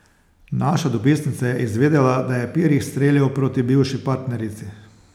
Naša dopisnica je izvedela, da je Pirih streljal proti bivši partnerici.